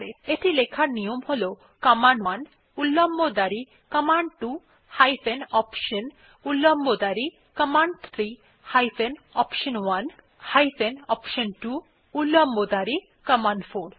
এটি লেখার নিয়ম হল কমান্ড1 উল্লম্ব দাঁড়ি কমান্ড2 হাইফেন অপশন উল্লম্ব দাঁড়ি command three hyphen option one hyphen option two উল্লম্ব দাঁড়ি কমান্ড4